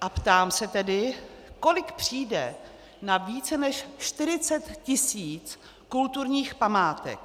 A ptám se tedy, kolik přijde na více než 40 tisíc kulturních památek?